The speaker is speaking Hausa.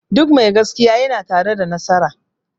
Duk mai gaskiya ya na tare da nasara